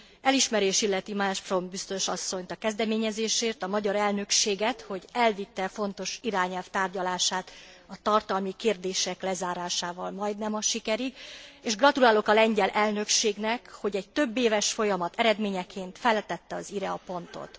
Elismerés illeti Malmström biztos asszonyt a kezdeményezésért, a magyar elnökséget, hogy elvitte e fontos irányelv tárgyalását a tartalmi kérdések lezárásával majdnem a sikerig, és gratulálok a lengyel elnökségnek, hogy egy többéves folyamat eredményeként feltette az i re a pontot.